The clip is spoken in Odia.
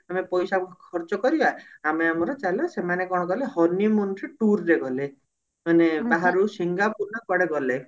ଆମେ ପଇସା ଖର୍ଚ କରିବା ଆମେ ଆମର ଚାଲ ସେମାନେ କଣ କଲେ honey moon ରେ toor ରେ ଗଲେ ମାନେ ବାହାରୁ ସିଙ୍ଗାପୁର ନା କୁଆଡେ ଗଲେ